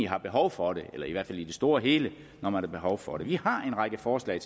har behov for det eller i hvert fald i det store og hele når man har behov for det vi har en række forslag